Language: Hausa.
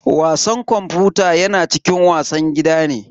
Wasan kwamfuta yana cikin wasan gida ne.